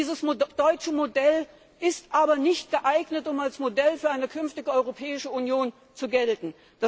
Dieses deutsche Modell ist aber nicht geeignet, um als Modell für eine künftige Europäische Union zu gelten.